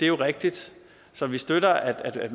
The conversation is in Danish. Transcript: jo rigtigt så vi støtter at